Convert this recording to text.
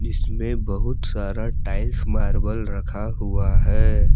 इसमें बहुत सारा टाइल्स मार्बल रखा हुआ है।